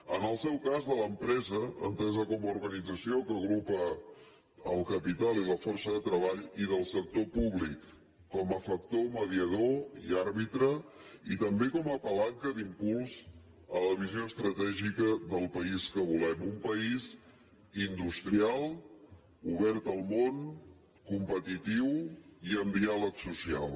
en el seu cas a l’empresa entesa com a organització que agrupa el capital i la força de treball i del sector públic com a factor mediador i àrbitre i també com a palanca d’impuls a la visió estratègica del país que volem un país industrial obert al món competitiu i amb diàleg social